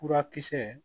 Furakisɛ